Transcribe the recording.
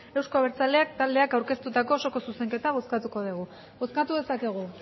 euzko abertzaleak taldeak aurkeztutako osoko zuzenketa bozkatuko dugu bozkatu dezakegu